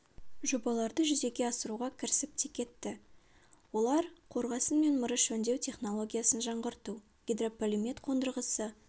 жобаларды жүзеге асыруға кірісіп те кетті олар қорғасын мен мырыш өңдеу технологиясын жаңғырту гидрополимет қондырғысы